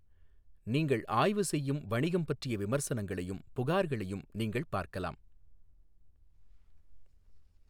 நீங்கள் ஆய்வு செய்யும் வணிகம் பற்றிய விமர்சனங்களையும் புகார்களையும் நீங்கள் பார்க்கலாம்.